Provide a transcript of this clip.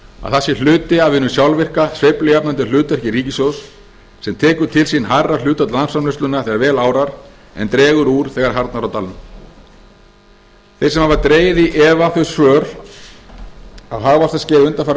að það sé hluti af hinu sjálfvirka sveiflujafnandi hlutverki ríkissjóðs sem tekur til sín hærra hlutfall landsframleiðslunnar þegar vel árar en dregur úr þegar barna á dalnum þeir sem dregið hafa í efa þau svör á hagvaxtarskeiði undanfarinna